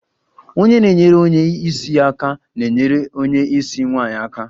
Onye na-enyere onye isi aka na-enyere onye isi nwanyị aka